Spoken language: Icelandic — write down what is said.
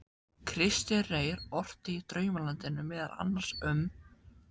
Kristinn Reyr orti í Draumalandinu meðal annars um